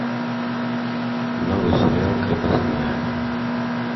новый сериал крепостная